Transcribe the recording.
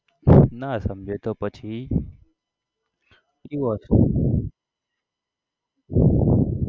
ના સમજે તો પછી divorce